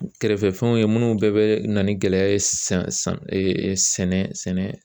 Kɛrɛfɛ fɛnw ye munnu bɛɛ bɛ na ni gɛlɛya ye san san sɛnɛ sɛnɛ.